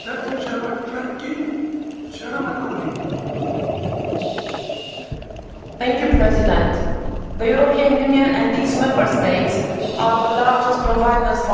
Mr President, the European Union and its Member States are the largest providers of aid for trade in the world.